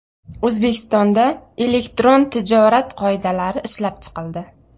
O‘zbekistonda Elektron tijorat qoidalari ishlab chiqildi.